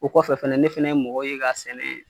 O kɔfɛ fɛnɛ ne fɛnɛ ye mɔgɔ ye ka sɛnɛ